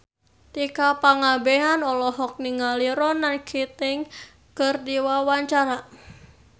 Tika Pangabean olohok ningali Ronan Keating keur diwawancara